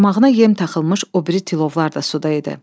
Qarmağına yem taxılmış o biri tilovlar da suda idi.